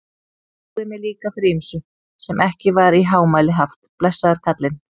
Hann trúði mér líka fyrir ýmsu sem ekki var í hámæli haft, blessaður kallinn.